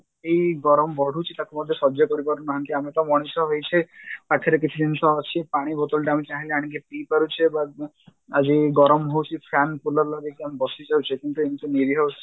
ଏଇ ଗରମ ବଢୁଛି ତାକୁ ମଧ୍ୟ ସଜ୍ୟ କରିପାରୁନାହାନ୍ତି ଆମେ ତ ମଣିଷ ହେଇଛେ ପାଖରେ କିଛି ଜିନିଷ ଅଛି ପାଣି bottle ଟେ ଆମେ ଚାହିଁଲେ ଆଣିକି ପିଇପାରୁଛେ ବା ଆଜି ଗରମ ହଉଛି fan cooler ଲଗେଇକି ଆମେ ବସିଯାଉଛେ କିନ୍ତୁ ଏମତି ନିରିହ